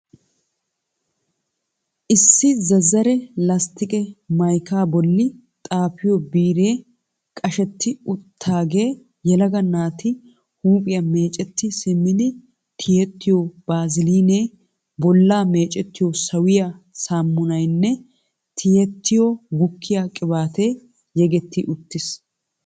Issi zazzare lasttiqe maykaa bolli xaafiyo biiree qashetti uttidaagee yelaga naati huuphiya meecetti simmidi tiyettiyo baaziliinee, bollaa meecettiyo sawiya saamunaynne tiyettiyo gukkiya qibaatee yegetti uttiis.